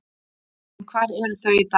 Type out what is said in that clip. En hvar eru þau í dag?